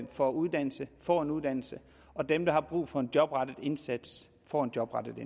for uddannelse får en uddannelse og dem der har brug for en jobrettet indsats får en jobrettet